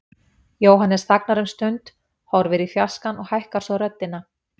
Jóhannes þagnar um stund, horfir í fjarskann og hækkar svo röddina.